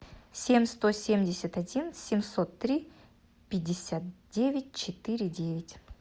семь сто семьдесят один семьсот три пятьдесят девять четыре девять